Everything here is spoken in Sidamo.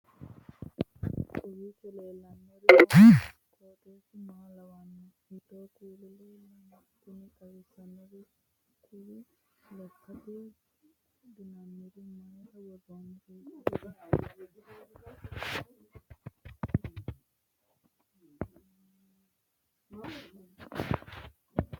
kowiicho leellannori maati ? qooxeessu maa lawaanno ? hiitoo kuuli leellanno ? tini xawissannori kuri lekkate wodhinannireeti mayra wodhinanni isi